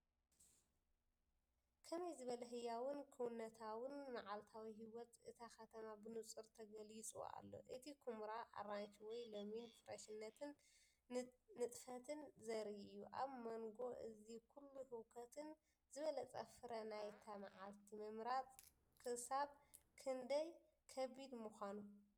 ከመይ ዝበለ ህያውን ክውንነታውን! መዓልታዊ ህይወት እታ ከተማ ብንጹር ተገሊጹ ኣሎ። እቲ ኵምራ ኣራንሺ ወይ ለሚን ፍረሽነትን ንጥፈትን ዘርኢ እዩ። ኣብ መንጎ እዚ ኩሉ ህውከት ዝበለጸ ፍረ ናይታ መዓልቲ ምምራጽ ክሳብ ክንደይ ከቢድ ምኾነ?